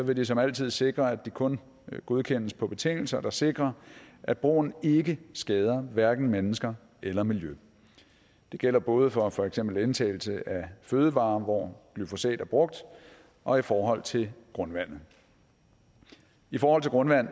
vil de som altid sikre at de kun godkendes på betingelser der sikrer at brugen ikke skader hverken mennesker eller miljø det gælder både for for eksempel indtagelse af fødevarer hvor glyfosat er brugt og i forhold til grundvandet i forhold til grundvand